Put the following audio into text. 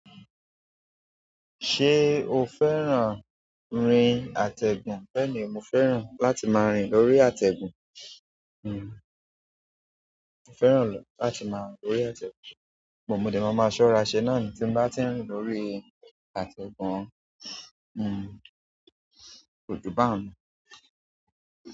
Ṣé o fẹ́ràn rin àtẹ̀gùn? Bẹ́ẹ̀ni, mo fẹ́ràn láti máa rìn lórí àtẹ̀gùn. Hmm, mo fẹ́ràn láti máa rìn lórí àtẹ̀gùn. Po mò dè máa máa ṣọ́ra ṣe náà ni tí n bá ti ń rìn lórí àtẹ̀gùn. Hmm, ko ju baun.